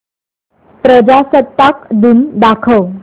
प्रजासत्ताक दिन दाखव